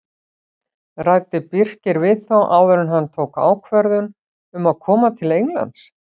Ræddi Birkir við þá áður en hann tók ákvörðun um að koma til Englands?